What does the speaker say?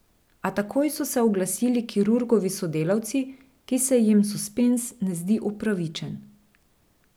A takoj so se oglasili kirurgovi sodelavci, ki se jim suspenz ne zdi upravičen.